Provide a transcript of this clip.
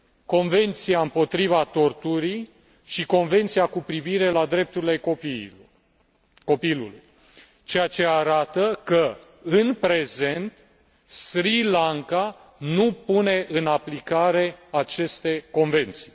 Convenția împotriva torturii și Convenția cu privire la drepturile copilului ceea ce arată că, în prezent, Sri Lanka nu pune în aplicare aceste convenții.